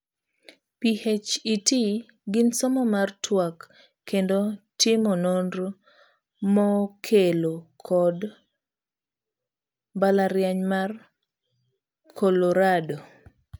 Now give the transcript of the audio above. PhET gin somo mar tuak kendo timo nonro mokelo kod mbalariany mar Colorado.